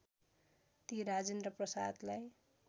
ती राजेन्द्र प्रसादलाई